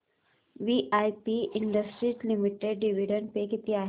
VIP industries limited dividend pay किती आहे